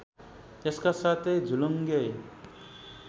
यसका साथै झुलुङ्गे